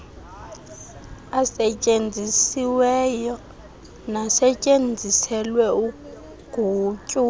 asetyenzisiweyo nasetyenziselwe ugutyulo